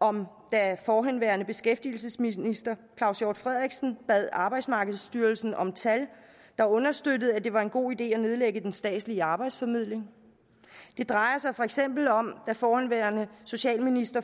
om da forhenværende beskæftigelsesminister claus hjort frederiksen bad arbejdsmarkedsstyrelsen om tal der understøttede at det var en god idé at nedlægge den statslige arbejdsformidling det drejer sig for eksempel om da forhenværende socialminister